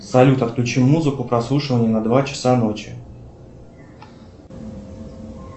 салют отключи музыку прослушивание на два часа ночи